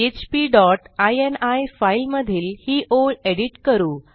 PHP dot ini file मधील ही ओळ एडिट करू